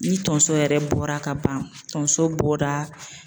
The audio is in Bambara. Ni tonso yɛrɛ bɔra ka ban tonso bɔda.